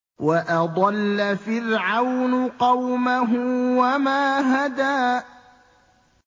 وَأَضَلَّ فِرْعَوْنُ قَوْمَهُ وَمَا هَدَىٰ